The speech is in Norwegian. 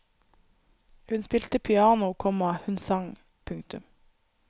Hun spilte piano, komma hun sang. punktum